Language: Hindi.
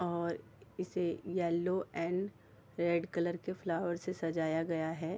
और इसे येलो एंड रेड कलर के फ्लावर से सजाया गया है।